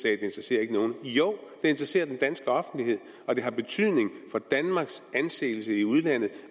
ikke interesserer nogen jo det interesserer den danske offentlighed og det har betydning for danmarks anseelse i udlandet